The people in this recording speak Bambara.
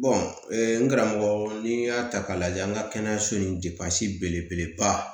n karamɔgɔ n y'a ta k'a lajɛ an ka kɛnɛyaso in depansi belebeleba